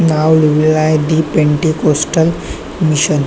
नाव लिहिलेल आहे the Pentecostal mission .